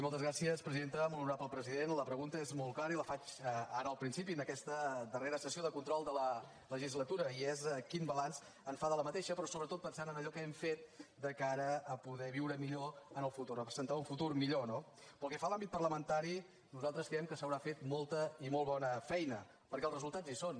molt honorable president la pregunta és molt clara i la faig ara al principi en aquesta darrera sessió de control de la legislatura i és quin balanç en fa d’aquesta legislatura però sobretot pensant en allò que hem fet de cara a poder viure millor en el futur a presentar un futur millor no pel que fa a l’àmbit parlamentari nosaltres creiem que s’haurà fet molta i molt bona feina perquè els resultats hi són